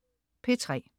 P3: